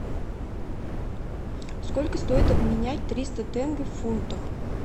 сколько стоит обменять триста тенге в фунтах